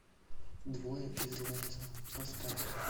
двое из ларца поставь